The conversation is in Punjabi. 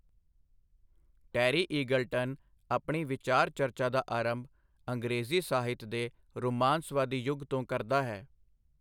ਟੈਰੀ ਈਗਲਟਨ ਆਪਣੀ ਵਿਚਾਰ ਚਰਚਾ ਦਾ ਆਰੰਭ ਅੰਗਰੇਜ਼ੀ ਸਾਹਿਤ ਦੇ ਰੁਮਾਂਸਵਾਦੀ ਯੁੁਗ ਤੋਂ ਕਰਦਾ ਹੈ।